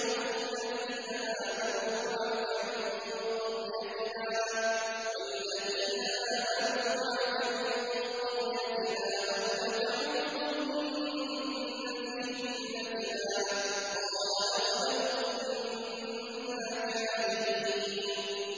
شُعَيْبُ وَالَّذِينَ آمَنُوا مَعَكَ مِن قَرْيَتِنَا أَوْ لَتَعُودُنَّ فِي مِلَّتِنَا ۚ قَالَ أَوَلَوْ كُنَّا كَارِهِينَ